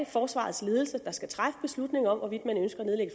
forsvarets ledelse der skal træffe beslutningen om hvorvidt man ønsker at nedlægge